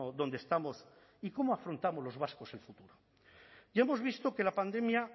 donde estamos y cómo afrontamos los vascos el futuro ya hemos visto que la pandemia